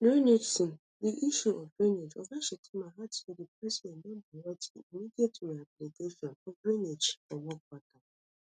drainageson di issue of drainage oga shettima add say di president don direct di immediate rehabilitation of drainages for mokwa town